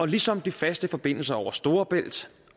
ligesom de faste forbindelser over storebælt